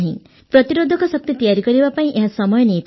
ପ୍ରତିରୋଧକ ଶକ୍ତି ତିଆରି କରିବା ପାଇଁ ଏହା ସମୟ ନେଇଥାଏ